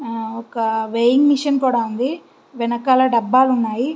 ఒక weighing machine కూడా ఉంది. వెనకాల డాబాలు ఉన్నాయి.